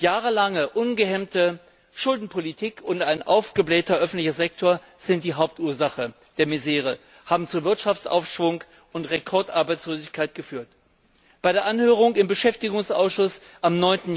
Jahrelange ungehemmte Schuldenpolitik und ein aufgeblähter öffentlicher Sektor sind die Hauptursachen der Misere, haben zu Wirtschaftsabschwung und Rekordarbeitslosigkeit geführt. Bei der Anhörung im Beschäftigungsausschuss am